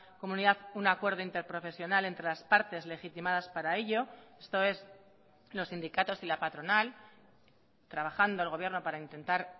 comunidad un acuerdo interprofesional entre las partes legitimadas para ello esto es los sindicatos y la patronal trabajando el gobierno para intentar